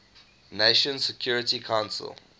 nations security council